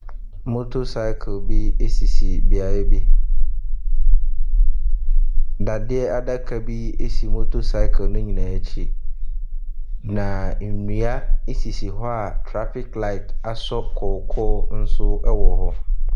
Motorcycle bi sisi beaeɛ bi, dadeɛ adaka bi si motocycle ne nyinaa akyi. Na nnua sisi hɔ a traffic light asɔ kɔkɔɔ nso wɔ hɔ.